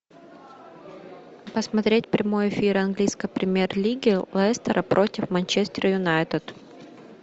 посмотреть прямой эфир английской премьер лиги лестера против манчестер юнайтед